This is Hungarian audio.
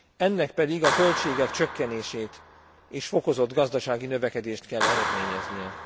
Ennek pedig a költségek csökkenését és fokozott gazdasági növekedést kell eredményeznie.